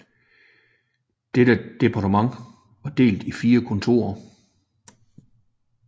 Dette departement var delt i 4 kontorer